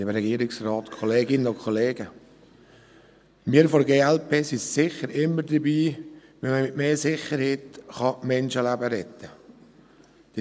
Wir von der glp sind sicher immer dabei, wenn man mit mehr Sicherheit Menschenleben retten kann.